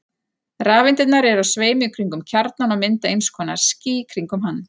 Rafeindirnar eru á sveimi kringum kjarnann og mynda eins konar ský kringum hann.